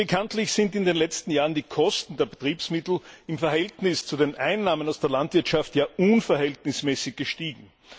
Bekanntlich sind in den letzten Jahren die Kosten der Betriebsmittel im Verhältnis zu den Einnahmen aus der Landwirtschaft unverhältnismäßig gestiegen.